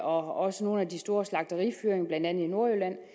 og også nogle af de store slagterifyringer blandt andet i nordjylland